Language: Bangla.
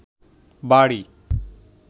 বাড়ি